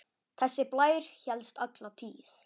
Þessi blær hélst alla tíð.